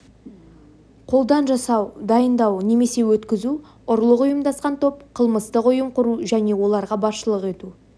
қолдан жасау дайындау немесе өткізу ұрлық ұйымдасқан топ қылмыстық ұйым құру және оларға басшылық ету